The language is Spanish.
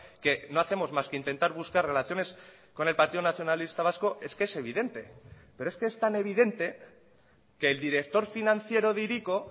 que no hacemos más que intentar buscar relaciones con el partido nacionalista vasco es que es evidente pero es que es tan evidente que el director financiero de hiriko